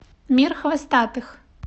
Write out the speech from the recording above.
мир хвостатых